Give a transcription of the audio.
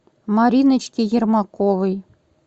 мариночки ермаковой